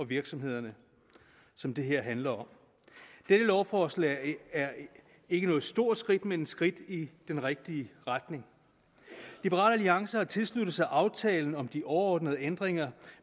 virksomhederne som det her handler om dette lovforslag er ikke noget stort skridt men et skridt i den rigtige retning liberal alliance har tilsluttet sig aftalen om de overordnede ændringer